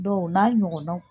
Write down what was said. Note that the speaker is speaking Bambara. Dɔnku o n'a ɲɔgɔnnaw.